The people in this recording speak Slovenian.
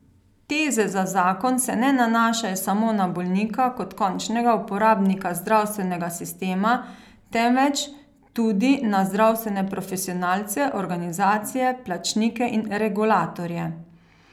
Teze za zakon se ne nanašajo samo na bolnika kot končnega uporabnika zdravstvenega sistema, temveč tudi na zdravstvene profesionalce, organizacije, plačnike in regulatorje.